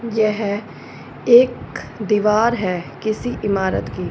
यह एक दीवार है किसी इमारत की।